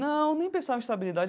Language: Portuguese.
Não, nem pensava em estabilidade.